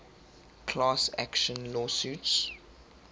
class action lawsuits